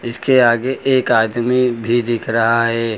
इसके आगे एक आदमी भी दिख रहा है।